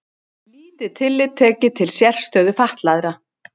Lítið tillit tekið til sérstöðu fatlaðra